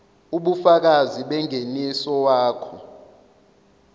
ubufakazi bengeniso wakho